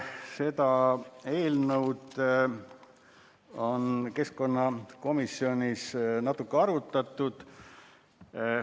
Seda eelnõu on keskkonnakomisjonis natuke arutatud.